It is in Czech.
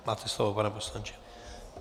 Máte slovo, pane poslanče.